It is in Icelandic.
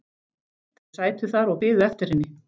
Þau sætu þar og biðu eftir henni.